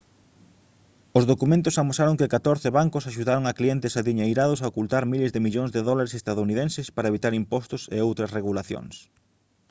os documentos amosaron que catorce bancos axudaron a clientes adiñeirados a ocultar miles de millóns de dólares estadounidenses para evitar impostos e outras regulacións